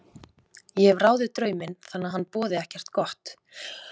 Ég hef ráðið drauminn þannig að hann boði ekkert gott.